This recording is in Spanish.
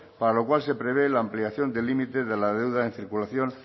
para lo cual se prevé la ampliación de límite de la deuda en circulación